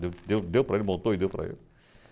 Deu deu deu para ele, montou e deu para ele.